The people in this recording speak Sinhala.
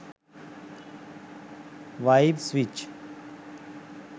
wife switch